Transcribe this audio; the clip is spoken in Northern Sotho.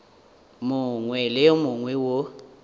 mongwe le wo mongwe wo